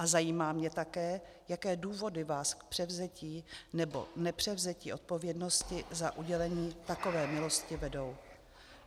A zajímá mě také, jaké důvody vás k převzetí nebo nepřevzetí odpovědnosti za udělení takové milosti vedou.